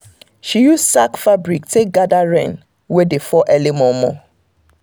she use sack fabric take gather rain wey dey fall early mor-mor.